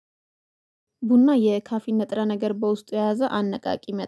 ቡና የካፊን ንጥረ ነገር በውስጡ የያዘ አነቃቂ መ